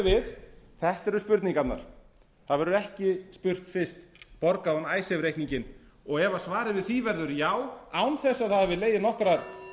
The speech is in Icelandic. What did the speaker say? við þetta eru spurningarnar það verður ekki spurt fyrst borgaði hún icesave reikninginn ef svarið við því verður já án þess að það hafi